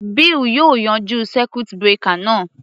Bill yóò yanjú circuit breaker náà.